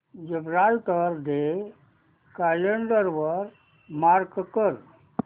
Gibraltar day calendar वर mark कर